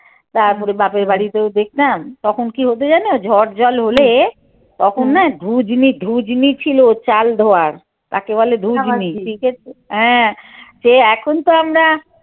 তারপরে বাপের বাড়িতেও দেখতাম তখন কী হত জানো ঝড় জল হলে তখননা চাল ধোয়ার তাকে এর সে এখন তো আমরা।